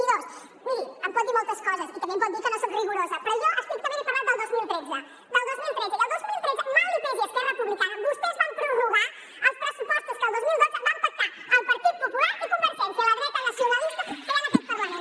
i dos miri em pot dir moltes coses i també em pot dir que no soc rigorosa però jo estrictament he parlat del dos mil tretze del dos mil tretze i el dos mil tretze mal li pesi a esquerra repu blicana vostès van prorrogar els pressupostos que el dos mil dotze van pactar el partit popular i convergència la dreta nacionalista que hi ha en aquest parlament